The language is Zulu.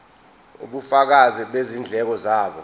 ubufakazi bezindleko zabo